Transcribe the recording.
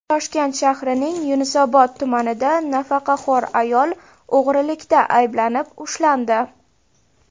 Toshkent shahrining Yashnobod tumanida nafaqaxo‘r ayol o‘g‘rilikda ayblanib ushlandi.